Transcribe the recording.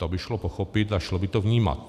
To by šlo pochopit a šlo by to vnímat.